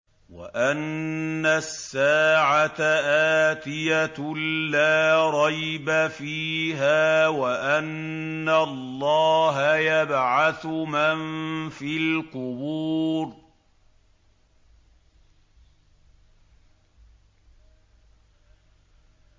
وَأَنَّ السَّاعَةَ آتِيَةٌ لَّا رَيْبَ فِيهَا وَأَنَّ اللَّهَ يَبْعَثُ مَن فِي الْقُبُورِ